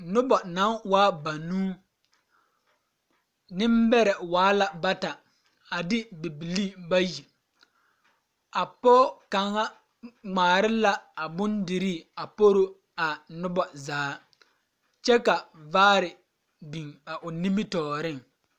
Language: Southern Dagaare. Noba na waa banuu nembɛrɛ waa la bata a de bibilii bayi a pɔɡe kaŋa ŋmaara la a bondirii poro a noba zaa kyɛ ka vaare biŋ a o nimitɔɔreŋ.